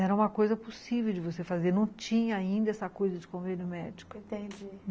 Era uma coisa possível de você fazer, não tinha ainda essa coisa de convênio médico. Entendi.